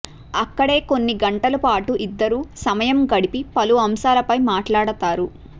అక్కడే కొన్ని గంటల పాటు ఇద్దరూ సమయం గడిపి పలు అంశాలపై మాట్లాడతారు